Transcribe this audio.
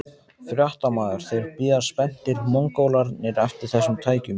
Fréttamaður: Þeir bíða spenntir, Mongólarnir eftir þessum tækjum?